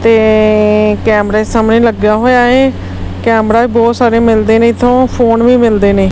ਤੇ ਕੈਮਰੇ ਸਾਹਮਣੇ ਲੱਗਿਆ ਹੋਇਆ ਹੈ ਕੈਮਰਾ ਵੀ ਬਹੁਤ ਸਾਰੇ ਮਿਲਦੇ ਨੇ ਇਥੋਂ ਫੋਨ ਵੀ ਮਿਲਦੇ ਨੇ।